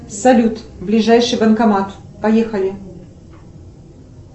салют ближайший банкомат поехали